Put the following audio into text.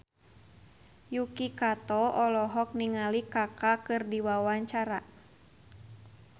Yuki Kato olohok ningali Kaka keur diwawancara